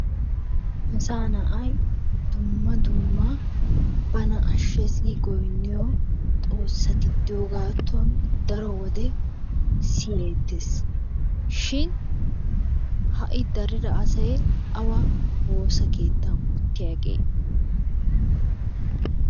Asaa na'ay dumma dumma bana ashees gi giynniyo Xoossati de'iyogaatuwan daro wode siyeettees. Shi ha'i daridda asay awa woossaa keettan uttiyaagee?